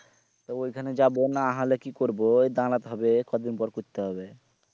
তা ওই খানে যাবো না হলে কি করবো ওই দাঁড় তে হবে কদিন পর করতে হবে